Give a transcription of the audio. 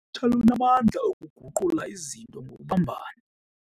Lunamandla okuguqula izinto ngokubumbana.